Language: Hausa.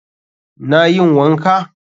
Na yin wanka.